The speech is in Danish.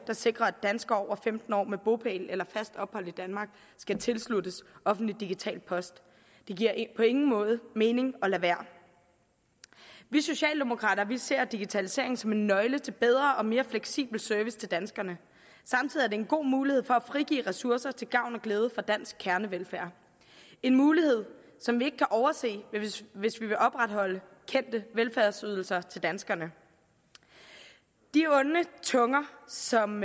der sikrer at danskere over femten år med bopæl eller fast ophold i danmark skal tilsluttes offentlig digital post det giver på ingen måde mening at lade være vi socialdemokrater ser digitalisering som en nøgle til bedre og mere fleksibel service til danskerne samtidig er det en god mulighed for at frigive ressourcer til gavn og glæde for dansk kernevelfærd en mulighed som vi ikke kan overse hvis vi vil opretholde kendte velfærdsydelser til danskerne de onde tunger som